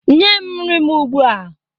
nye nri m ugbua!